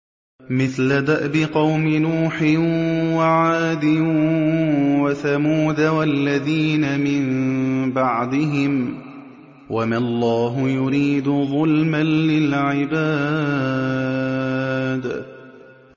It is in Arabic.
مِثْلَ دَأْبِ قَوْمِ نُوحٍ وَعَادٍ وَثَمُودَ وَالَّذِينَ مِن بَعْدِهِمْ ۚ وَمَا اللَّهُ يُرِيدُ ظُلْمًا لِّلْعِبَادِ